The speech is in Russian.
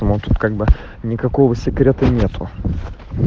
ну тут как бы никакого секрета нету